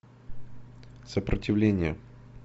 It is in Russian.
сопротивление